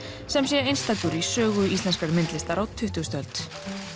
sem sé einstakur í sögu íslenskrar myndlistar á tuttugu öld